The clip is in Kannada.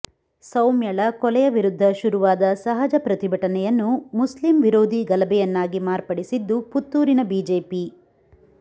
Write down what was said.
ಸೌಮ್ಯಳ ಕೊಲೆಯ ವಿರುದ್ಧ ಶುರುವಾದ ಸಹಜ ಪ್ರತಿಭಟನೆಯನ್ನು ಮುಸ್ಲಿಮ್ ವಿರೋಧೀ ಗಲಭೆಯನ್ನಾಗಿ ಮಾರ್ಪಡಿಸಿದ್ದು ಪುತ್ತೂರಿನ ಬಿಜೆಪಿ